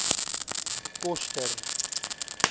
koster